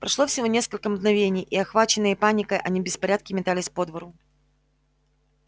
прошло всего несколько мгновений и охваченные паникой они в беспорядке метались по двору